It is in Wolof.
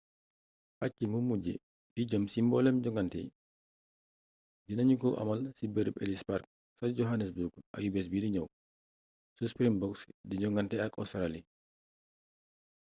pàcc mu mujju bi jëm ci mboolem jongante yi dina ñu ko amal ci bërëb ellis park ca johannesburg ayubés bidi ñëw su springboks di jogante ak óstraali